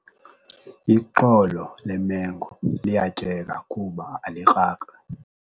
Ixolo lemengo liyatyeka kuba alikrakri.